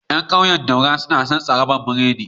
Yan ƙauyen daura, suna son tsrabar biredi